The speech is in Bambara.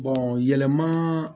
yɛlɛmaa